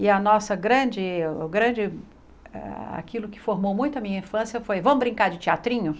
E a nossa grande o grande... aquilo que formou muito a minha infância foi, vamos brincar de teatrinho?